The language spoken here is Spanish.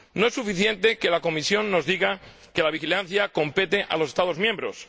No es suficiente que la Comisión nos diga que la vigilancia compete a los Estados miembros.